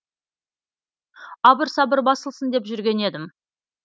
абыр сабыр басылсын деп жүрген едім